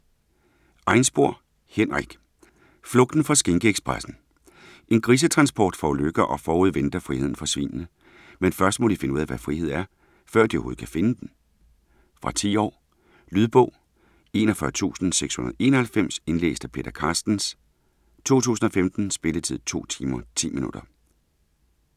Einspor, Henrik: Flugten fra skinkeekspressen En grisetransport forulykker og forude venter friheden for svinene. Men først må de finde ud af hvad frihed er, før de overhovedet kan finde den. Fra 10 år. Lydbog 41691 Indlæst af Peter Carstens, 2015. Spilletid: 2 timer, 10 minutter.